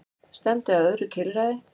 Stefndi að öðru tilræði